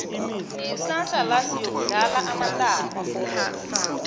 kusasa la siyokudlala amatarha